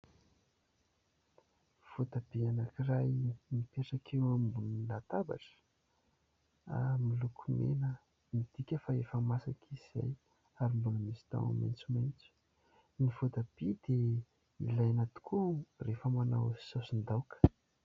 Voatabia anankiray mipetraka eo ambony latabatra ary miloko mena, midika fa efa masaka izy izay ary mbola misy tahony maitsomaitso, ny voatabia dia ilaina tokoa rehefa manao saosin-daoka.